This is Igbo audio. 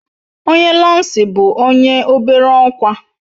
Onye lansị bu onye obere okwa